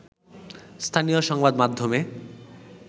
স্থানীয় সংবাদমাধ্যমে